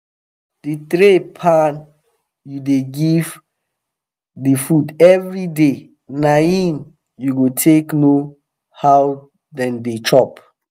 the tray pan u da give the food every day na him u go take know how them da chop